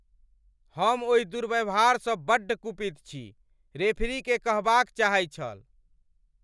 हम ओहि दुर्व्यवहारसँ बड्ड कुपित छी! रेफरीकेँ कहबाक चाहै छल।